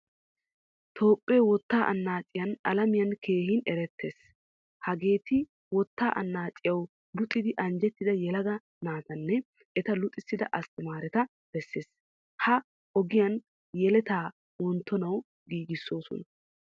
Toophphee wotta annaciyaan alamiyan keehin eretees. Hageeti wootta annacciyawu luxxidi anjjettida yelaga naatane eta luxisida asttamaretta besees. Ha ogiyan yeletta wonttonawu giigisosona.